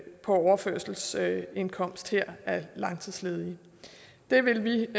på overførselsindkomst her langtidsledige det vil vi